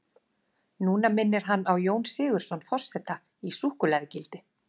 Núna minnir hann á Jón Sigurðsson forseta í súkkulaðigildi.